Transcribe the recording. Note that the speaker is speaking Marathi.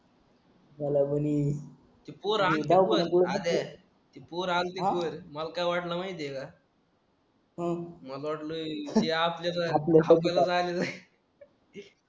मला ती पोर आल्ती पण अरे ती पोर आलती पोर मला काय वाटलं माहिती आहे का अं मला वाटलं ती आपल्या साठी